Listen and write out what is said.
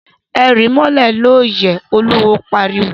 E ríí mólè lóóyè! Oluwo pariwo!